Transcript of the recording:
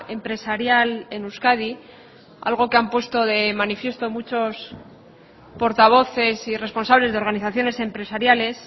empresarial en euskadi algo que han puesto de manifiesto muchos portavoces y responsables de organizaciones empresariales